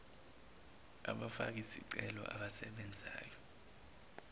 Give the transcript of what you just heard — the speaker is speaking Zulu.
abafaki zicelo abasebenzayo